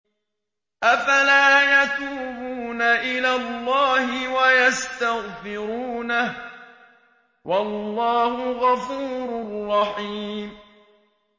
أَفَلَا يَتُوبُونَ إِلَى اللَّهِ وَيَسْتَغْفِرُونَهُ ۚ وَاللَّهُ غَفُورٌ رَّحِيمٌ